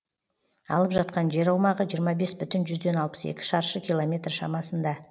алып жатқан жер аумағы жиырма бес бүтін жүзден алпыс екі шаршы километр шамасында